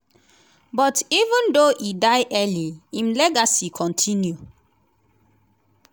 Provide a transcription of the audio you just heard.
but even though e die early im legacy kontinu.